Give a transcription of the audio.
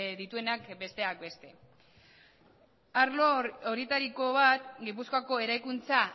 dituenak besteak beste arlo horietariko bat gipuzkoako eraikuntza